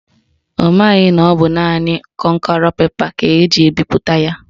Ọ maghị na ọ bụ naanị kọnkerọ pepa ka eji ebipụta ya.